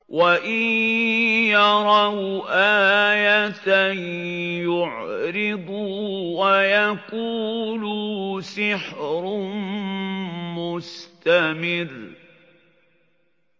وَإِن يَرَوْا آيَةً يُعْرِضُوا وَيَقُولُوا سِحْرٌ مُّسْتَمِرٌّ